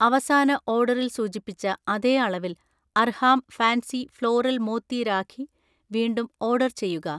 അവസാന ഓർഡറിൽ സൂചിപ്പിച്ച അതേ അളവിൽ അർഹാം ഫാൻസി ഫ്ലോറൽ മോത്തി രാഖി വീണ്ടും ഓർഡർ ചെയ്യുക